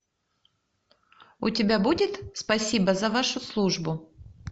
у тебя будет спасибо за вашу службу